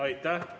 Aitäh!